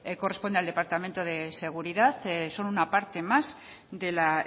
corresponde al departamento de seguridad son una parte más de la